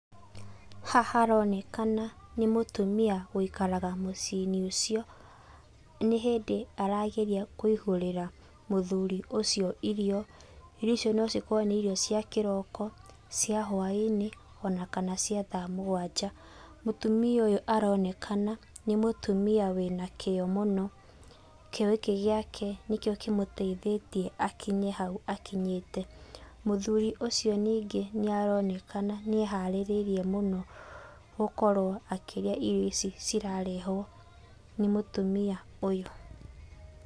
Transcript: Haha haronekana nĩ mũtũmia ũikaraga mũciĩ-inĩ ũcio. Nĩ hĩndĩ arageria kũihũrira mũthuri ũcio irio. Irio icio no cikorwo nĩ cia kĩroko, cia hũainĩ, ona kana cia thaa mũgwanja. Mũtũmia ũyũ aronekana nĩ mũrũmia wĩna kio mũno. Kio gĩkĩ gĩake nĩkĩo kĩmũteithĩtie gũkinya haũ akinyĩte. Mũthuri ũcio nĩngĩ aronekana nĩ eharĩirie mũno gũkorwo akĩrĩa irio ici cirarehwo nĩ mũtumia ũyũ.